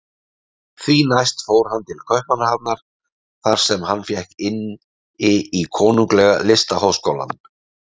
Því næst fór hann til Kaupmannahafnar þar sem hann fékk inni í Konunglega listaháskólann.